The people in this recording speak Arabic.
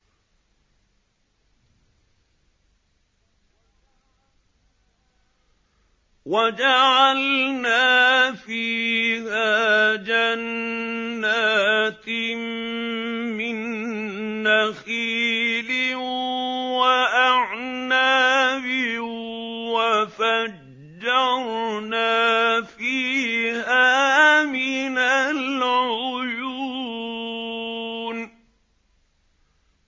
وَجَعَلْنَا فِيهَا جَنَّاتٍ مِّن نَّخِيلٍ وَأَعْنَابٍ وَفَجَّرْنَا فِيهَا مِنَ الْعُيُونِ